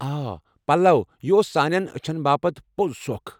آ پلو! یہِ اوس سانین اچھن باپت پوٚز سۄكھ ۔